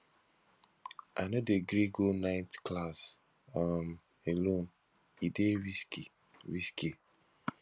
i no dey gree go night class um alone e dey risky risky